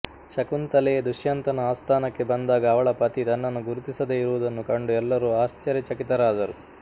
ಶಕುಂತಲೆ ದುಷ್ಯಂತನ ಆಸ್ಥಾನಕ್ಕೆ ಬಂದಾಗ ಅವಳ ಪತಿ ತನ್ನನ್ನು ಗುರುತಿಸದೆ ಇರುವುದನ್ನು ಕಂಡು ಎಲ್ಲರೂ ಆಶ್ಚರ್ಯಚಕಿತರಾದರು